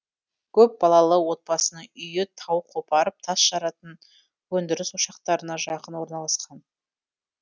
көпбалалы отбасының үйі тау қопарып тас жаратын өндіріс ошақтарына жақын орналасқан